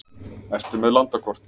Ertu með landakort?